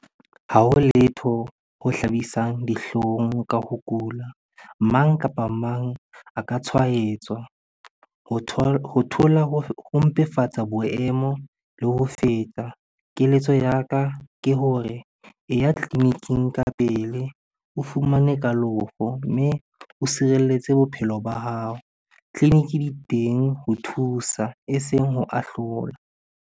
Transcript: Ha ho letho ho hlabisang dihlong ka ho kula. Mang kapa mang a ka tshwaetswa. Ho thola ho mpefatsa boemo le ho feta. Keletso ya ka ke hore e ya tleliniking ka pele, o fumane kalofo mme o sireletse bophelo ba hao. Tleliniki di teng ho thusa eseng ho ahlola.